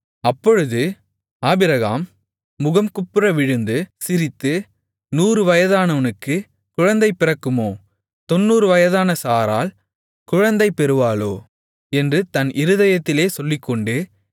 அப்பொழுது ஆபிரகாம் முகங்குப்புற விழுந்து சிரித்து 100 வயதானவனுக்குக் குழந்தை பிறக்குமோ 90 வயதான சாராள் குழந்தை பெறுவாளோ என்று தன் இருதயத்திலே சொல்லிக்கொண்டு